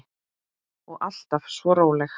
Og alltaf svo róleg.